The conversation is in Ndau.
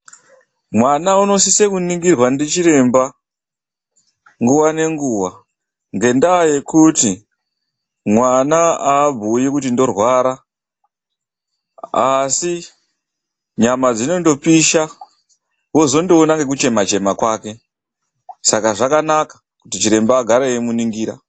MWANA UNOSISE KUNINGIRWA NDICHIREMBA NGUWA ,NGENGUWA NGENYAYA YEKUTI MWANA AABUYI KUTI NDORWARA ASI , NYAMA DZINONGOPISA WOZOONA NEKUCHEMA CHEMA KWAKE SAKA ZVAKANAKA KUTI CHIREMBA AGARE EIMUNINGIRA.